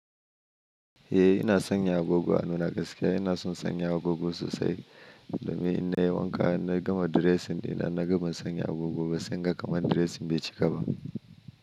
Eh ina sanya agogo a hannuna gaskiya ina son sanya agogo sosai domin in na yi wanka na gama dressing ina na gama sanya agogo ba sai na ga kamar dressing bai cika ba.